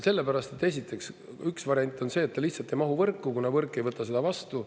Sellepärast, et, esiteks, üks variant on see, et ta lihtsalt ei mahu võrku, kuna võrk ei võta seda vastu.